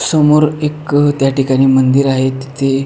समोर एक त्या ठिकाणी मंदिर आहे तेथे.